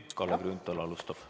Kalle Grünthal alustab.